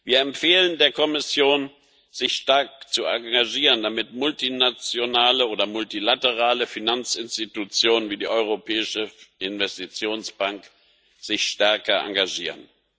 Wir empfehlen der Kommission, sich stark zu engagieren, damit multinationale oder multilaterale Finanzinstitutionen wie die Europäische Investitionsbank sich stärker engagieren.